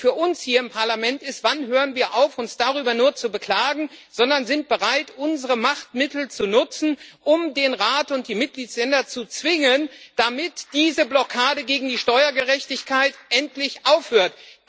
Und für uns hier im Parlament ist die Frage Wann hören wir auf, uns nur darüber zu beklagen, sondern sind bereit, unsere Machtmittel zu nutzen, um den Rat und die Mitgliedstaaten zu zwingen, damit diese Blockade gegen die Steuergerechtigkeit endlich aufhört?